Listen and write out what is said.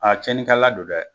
A tiɲɛnikɛla don dɛ!